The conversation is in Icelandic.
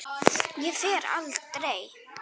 Ég fer aldrei.